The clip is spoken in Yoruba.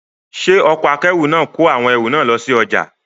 Ṣé ọkọ̀ akẹ́rù náà kọ awọn ẹrù náà lọ sí ọjà?